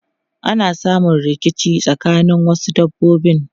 Ana samun rikici tsakanin wasu dabbobi.